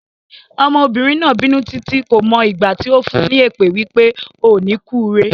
Ọmọbìnrin náà bínú títí, kò mọ ìgbà tí ó fún ní èpè wípé "O ò ní kúre".